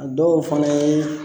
A dɔw fana ye.